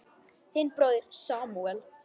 Þinn bróðir Samúel.